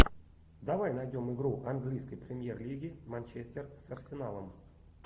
давай найдем игру английской премьер лиги манчестер с арсеналом